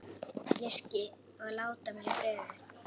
Og láti mig í friði.